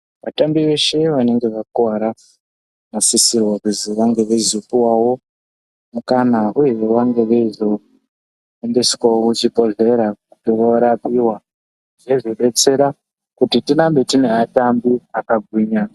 Vatambi veshe vanenge vakuvara vano. sisirwa kuzi vange veizo puwawo mukana uyehe vange veizo hambi swawo ku chibhodhlera vo rapiwa zveizo detsera kuti tirambe tine atimbi aka gwinya.